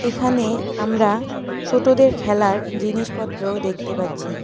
এখানে আমরা ছোটদের খেলার জিনিসপত্র দেখতে পাচ্ছি।